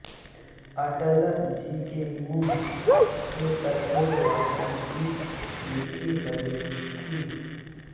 अटल जी के मुंह से कठोर बातें भी मीठी लगती थीं